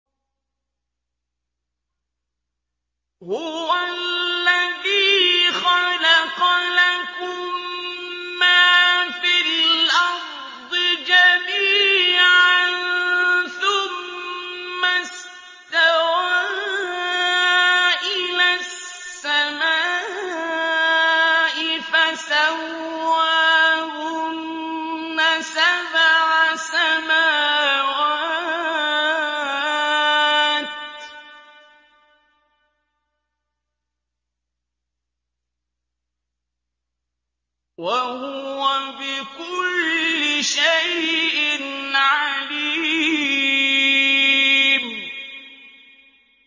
هُوَ الَّذِي خَلَقَ لَكُم مَّا فِي الْأَرْضِ جَمِيعًا ثُمَّ اسْتَوَىٰ إِلَى السَّمَاءِ فَسَوَّاهُنَّ سَبْعَ سَمَاوَاتٍ ۚ وَهُوَ بِكُلِّ شَيْءٍ عَلِيمٌ